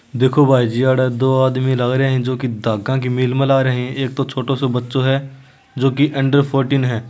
देखो भाई जीअड़ा दो आदमी लागरे है जो की धागा की मील में ला रहे है एक तो छोटो सो बच्चो है जो की अंडर फोर्टीन है।